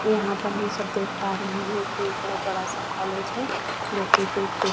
ऊपर आसमान एकदम साफ दिखाई दे रहा है।